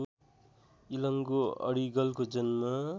इलंगो अडिगलको जन्म